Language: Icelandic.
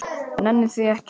Nenni því ekki